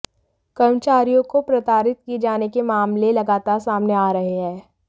कर्मचारियों को प्रताड़ित किए जाने के मामले लगातार सामने आ रहे हैं